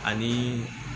Ani